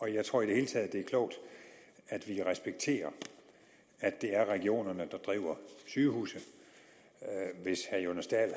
jeg tror i det hele taget det er klogt at vi respekterer at det er regionerne der driver sygehusene hvis herre jonas dahl